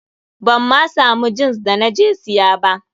Ban ma samu jins da na je siya ba.